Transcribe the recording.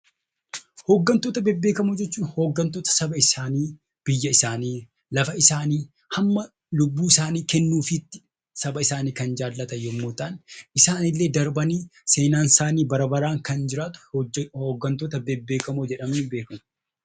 Hoggantoota bebbeekamoo jechuun hoggantoota saba isaanii, biyya isaanii, lafa isaanii, hamma lubbuu kennuufiitti saba isaanii kan jaallatan yommuu ta'an, isaan illee darbanii seenaan isaanii bara baraan kan jiraatu Hoggantoota bebbeekamoo jedhamanii beekamu.